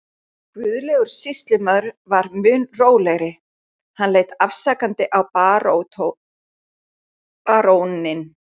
Guðlaugur sýslumaður var mun rólegri, hann leit afsakandi á baróninn.